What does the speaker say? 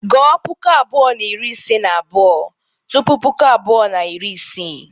Gụọ puku abuo na iri ise na abuo tupu puku abuo na iri isii.